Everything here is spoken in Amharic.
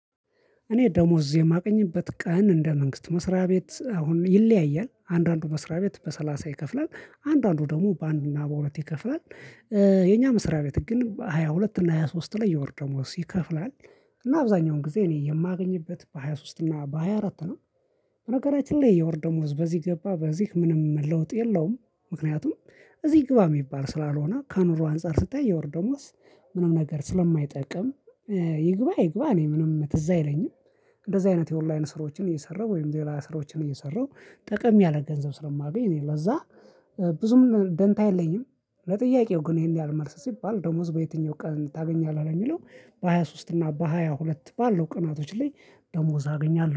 እኔ ደሞዝ የማገኝበት ቀን እንደ መንግስት መስሪያ ቤት አሁን ይለያያል አንዳንዱ መስሪያ ቤት በሰላሳ ይከፍላል አንዳንዱ ደግሞ በአንድና በሁለት ይከፍላል። የኛ መስሪያ ቤት ግን ሃያ ሁለት እና ሃያ ሶስት ላይ የወር ደሞዝ ይከፍላል። እና አብዛኛውን ጊዜ እኔ የማገኝበት በሃያ ሶስት እና በሃያ አራት ነው። በነገራችን ላይ የወር ደሞዝ በዚህ ገባ በዚህ ምንም ለውጥ የለውም። ምክንያቱም እዚህ ግባ የሚባል ስላልሆነ ከኑሮ አንፃር ስታይ የወር ደሞዝ ምንም ነገር ስለማይጠቅም ይግባ አይግባ እኔ ምንም ትዝ አይለኝም። እንደዚህ አይነት የኦንላይን ስራዎችን እየሰራሁ ወይም ለላ ስራዎችን እየሰራው ጠቀም ያለ ገንዘብ ስለማገኝ እኔ ለዛ ብዙም ደንታ የለኝም። ለጥያቄው ግን ይሄን ያህል መልስ ሲባል ደሞዝ በየትኛው ቀን ታገኛለህ የሚለው በሃያ ሶስት እና በሃያ ሁለት ባለው ቀናቶች ላይ ደሞዝ አገኛለሁ